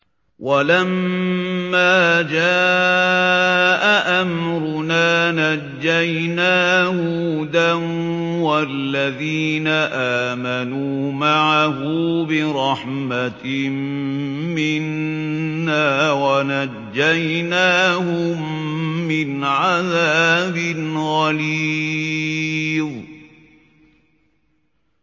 وَلَمَّا جَاءَ أَمْرُنَا نَجَّيْنَا هُودًا وَالَّذِينَ آمَنُوا مَعَهُ بِرَحْمَةٍ مِّنَّا وَنَجَّيْنَاهُم مِّنْ عَذَابٍ غَلِيظٍ